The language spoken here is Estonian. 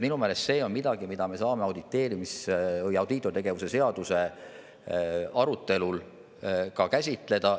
Minu meelest see on midagi, mida me saame audiitortegevuse seaduse arutelul käsitleda.